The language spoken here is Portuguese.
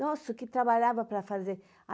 Nossa, o que trabalhava para fazer!